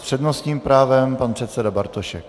S přednostním právem pan předseda Bartošek.